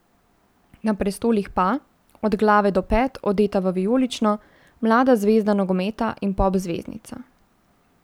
Na prestolih pa, od glave do pet odeta v vijolično, mlada zvezda nogometa in pop zvezdnica.